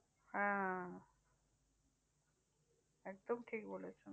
হ্যাঁ একদম ঠিক বলেছেন।